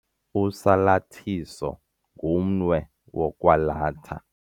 Usalathiso ngumnwe wokwalatha.